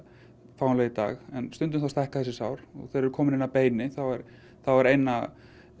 fáanleg í dag en stundum stækka þessi sár og þau eru komin inn að beini þá er eina